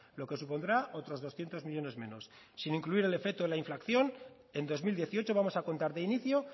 lo que supondrá otros doscientos millónes menos sin incluir el efecto de la inflación en dos mil dieciocho vamos a contar de inicio